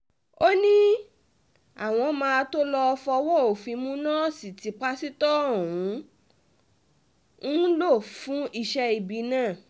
ó ní àwọn máa tóó lọ́ọ́ fọwọ́ òfin mú nọ́ọ̀sì tí pásítọ̀ ọ̀hún ń lò fún iṣẹ́ ibi náà